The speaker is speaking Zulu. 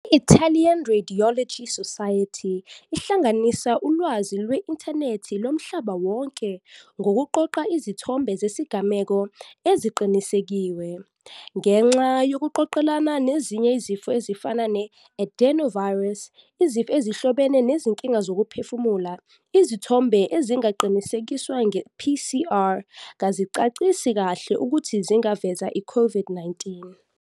I-Italian Radiological Society ihlanganisa ulwazi lwe-inthenethi lomhlaba wonke ngokuqoqa izithombe zezigameko eziqinisekisiwe. Ngenxa yokuqoqelana nezinye izifo ezifana ne-adenovirus, izifo ezihlobene nezinkinga zokuphefumula, izithombe ezingaqinisekisiwe nge-PCR kazicacisi kahle ukuthi zingaveza i-COVID-19.